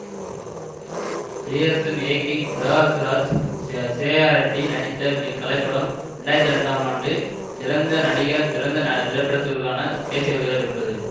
பிரியதர்சன் இயக்கி பிரகாஷ் ராஜ் சி சிரேயா ரெட்டி நடித்த இக்கலைப்படம் இரண்டு ஆயிரத்தி ரெண்டாம் ஆண்டு சிறந்த நடிகர் சிறந்த திரைப்படத்துக்கான தேசிய விருதுகளை பெற்றது